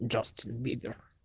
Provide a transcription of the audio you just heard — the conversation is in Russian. джастин бибер